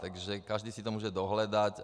Takže každý si to může dohledat.